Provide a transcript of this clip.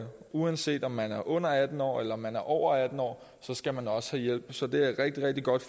uanset om man er under atten år eller man er over atten år skal man også have hjælp så det er et rigtig rigtig godt